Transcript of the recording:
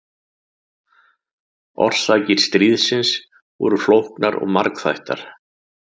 Orsakir stríðsins voru flóknar og margþættar.